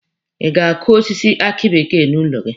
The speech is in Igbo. Ị ga-akụ osisi aki bekee n'ụlọ gị?